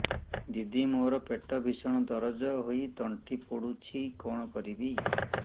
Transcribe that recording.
ଦିଦି ମୋର ପେଟ ଭୀଷଣ ଦରଜ ହୋଇ ତଣ୍ଟି ପୋଡୁଛି କଣ କରିବି